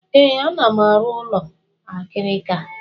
Ee, ana m arụ ụlọ akịrịka.